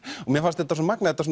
mér fannst þetta svo magnað þetta